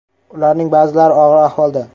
Ularning ba’zilari og‘ir ahvolda.